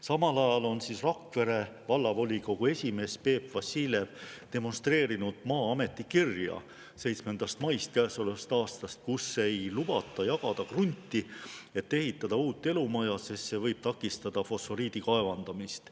Samal ajal on Rakvere Vallavolikogu esimees Peep Vassiljev demonstreerinud Maa-ameti 7. mai käesoleva aasta kirja, kus ei lubata jagada krunti, et ehitada uut elumaja, sest see võib takistada fosforiidi kaevandamist.